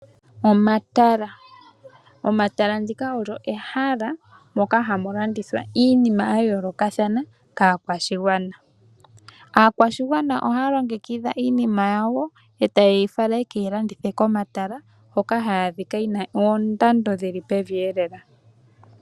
Omatala. Omatala ndika olyo ehala, moka hamulandithwa iinima yayoolokathana, kaakwashigwana. Aakwashigwana ohaya longekidha iinima yawo, eta yeyi fala yeke yi landithe komatala, hoka hayi adhika yina oondando dhili peveelela.